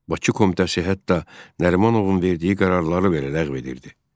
Bakı komitəsi hətta Nərimanovun verdiyi qərarları ləğv edirdi.